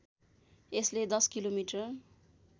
यसले १० किलोमिटर